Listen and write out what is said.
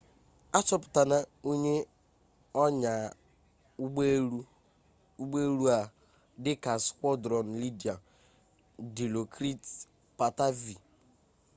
achọpụtara onye onyaa ụgbọ elu a dịka squadron leader dilokrit pattavee